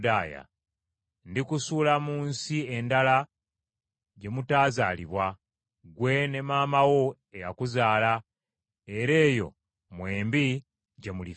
Ndikusuula mu nsi endala gye mutaazaalibwa, ggwe ne maama wo eyakuzaala, era eyo mwembi gye mulifiira.